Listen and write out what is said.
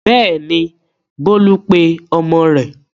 Bẹ́ẹ̀ni, Bólú pe ọmọ rẹ̀.